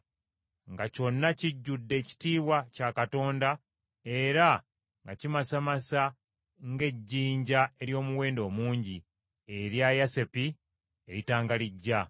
nga kyonna kijjudde ekitiibwa kya Katonda era nga kimasamasa ng’ejjinja ery’omuwendo omungi, erya yasepi, eritangalijja.